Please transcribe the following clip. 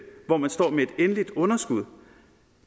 hvor man står med et endeligt underskud